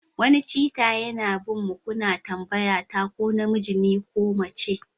Wani Cheetah yana bin mu kuna tambayata ko namiji ne ko mace